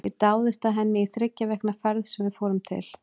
Ég dáðist að henni í þriggja vikna ferð sem við fórum til